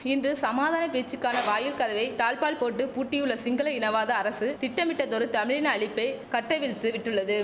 இன்று சமாதான பேச்சுக்கான வாயில் கதவை தாழ்ப்பாள் போட்டு பூட்டியுள்ள சிங்கள இனவாத அரசு திட்டமிட்டதொரு தமிழின அழிப்பை கட்டவிழ்த்து விட்டுள்ளது